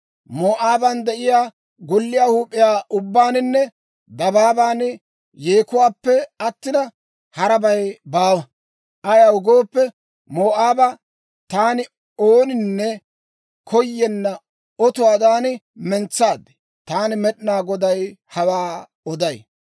Moo'aaban de'iyaa golliyaa huup'iyaa ubbaaninne dabaaban yeekuwaappe attina, harabay baawa. Ayaw gooppe, Moo'aaba taani ooninne koyenna otuwaadan mentsaad. Taani Med'inaa Goday hawaa oday.